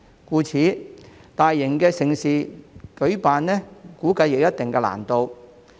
因此，我估計舉辦大型盛事將有一定難度。